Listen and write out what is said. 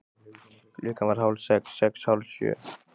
Klukkan varð hálf sex. sex. hálf sjö.